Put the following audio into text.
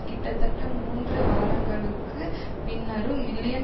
கிட்டத்தட்ட மூன்று வாரங்களுக்கு பின்னரும் மில்லியன்